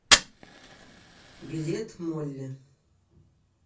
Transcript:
билет молли